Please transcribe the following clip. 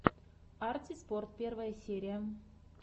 арти спорт первая серия